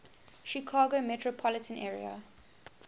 chicago metropolitan area